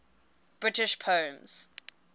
british poems